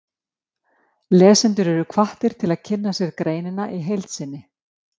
Lesendur eru hvattir til að kynna sér greinina í heild sinni.